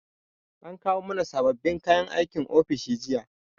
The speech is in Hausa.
An kawo mana sababbin kayan aikin ofis jiya